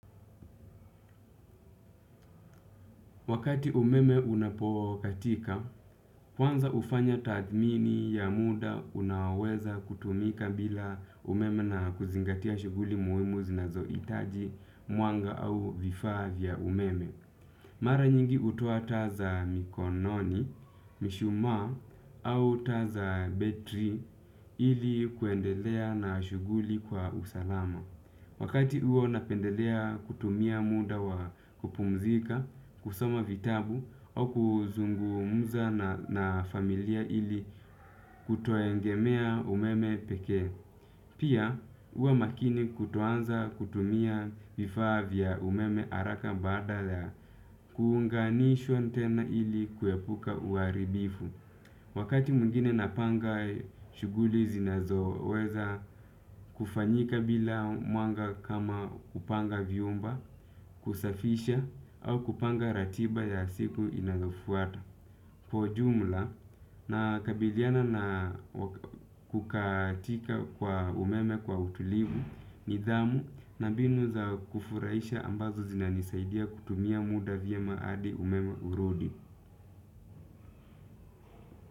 Wakati umeme unapokatika, kwanza hufanya tadhmini ya muda unaoweza kutumika bila umeme na kuzingatia shughuli muhimu zinazohitaji mwanga au vifaa vya umeme. Mara nyingi hutoa taa za mikononi, mishumaa au taa za betri ili kuendelea na shuguli kwa usalama. Wakati huo napendelea kutumia muda wa kupumzika kusoma vitabu au kuzungu muza na familia ili kutoegemea umeme pekee. Pia huwa makini kutoanza kutumia vifaa vya umeme haraka baada kuunganishwa tena ili kuepuka huaribifu. Wakati mwingine napanga shughuli zinazo weza kufanyika bila mwanga kama kupanga vyumba, kusafisha, au kupanga ratiba ya siku inayofuata. Kwa jumla, nakabiliana na kukatika kwa umeme kwa utulivu nidhamu na mbinu za kufurahisha ambazo zinanisaidia kutumia muda vyema hadi umeme urudi.